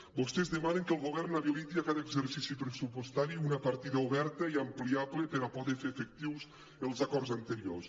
vostès demanen que el govern habiliti a cada exercici pressupostari una partida oberta i ampliable per poder fer efectius els acords anteriors